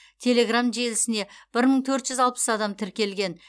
телеграмм желісіне бір мың төрт жүз алпыс адам тіркелген